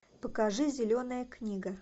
покажи зеленая книга